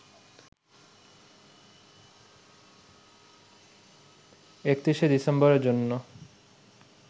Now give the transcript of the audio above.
৩১শে ডিসেম্বরের জন্য